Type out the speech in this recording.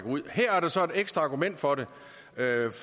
ud og her er der så et ekstra argument for det